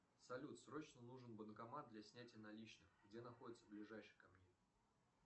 салют срочно нужен банкомат для снятия наличных где находится ближайший ко мне